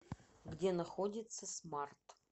где находится смарт